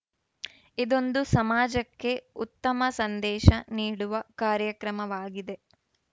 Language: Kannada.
ಇದೊಂದು ಸಮಾಜಕ್ಕೆ ಉತ್ತಮ ಸಂದೇಶ ನೀಡುವ ಕಾರ್ಯಕ್ರಮವಾಗಿದೆ